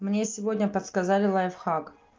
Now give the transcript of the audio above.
мне сегодня подсказали лайфхак